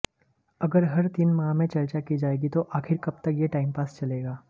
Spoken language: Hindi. अगर हर तीन माह में चर्चा की जाएगी तो आखिर कब तक यह टाइमपास चलेगा